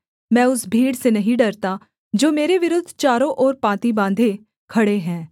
मैं उस भीड़ से नहीं डरता जो मेरे विरुद्ध चारों ओर पाँति बाँधे खड़े हैं